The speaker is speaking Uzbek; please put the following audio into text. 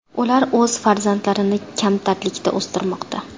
Ular o‘z farzandlarini kamtarlikda o‘stirmoqda.